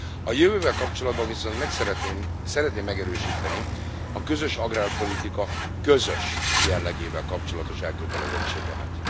A jövővel kapcsolatban viszont szeretném megerősíteni a közös agrárpolitika közös jellegével kapcsolatos elkötelezettségemet.